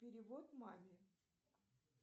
перевод маме